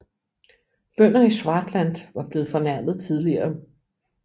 Bønder i Swartland var blevet fornærmet tidligere